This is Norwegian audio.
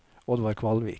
Oddvar Kvalvik